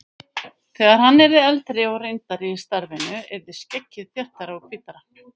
Þegar hann yrði eldri og reyndari í starfinu yrði skeggið þéttara og hvítara.